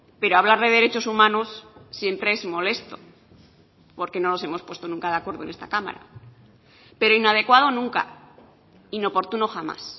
pero hablar de derechos humanos siempre es molesto porque no nos hemos puesto nunca de acuerdo en esta cámara pero inadecuado nunca inoportuno jamás